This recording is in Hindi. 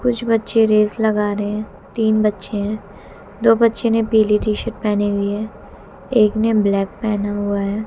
कुछ बच्चे रेस लगा रहे हैं तीन बच्चे हैं दो बच्चों ने पीली टी शर्ट पहनी हुई है एक ने ब्लैक पहना हुआ है।